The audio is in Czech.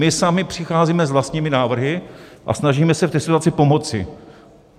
My sami přicházíme s vlastními návrhy a snažíme se v té situaci pomoci.